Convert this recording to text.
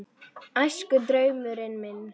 Æskudraumurinn minn?